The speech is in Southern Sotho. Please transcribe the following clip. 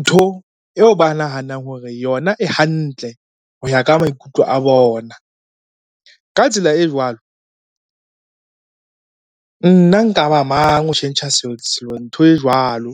ntho eo ba nahanang hore yona e hantle ho ya ka maikutlo a bona. Ka tsela e jwalo, nna nka ba mang ho tjhentjha ntho e jwalo.